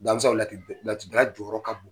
a bɛ sɔrɔ ola k'i Laturu dala jɔyɔrɔ ka bon.